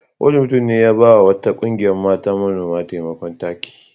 Wani mutum ne ya ba wa wata ƙungiyar mata manoma taimakon taki.